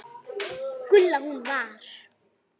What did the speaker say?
Gulla. hún var.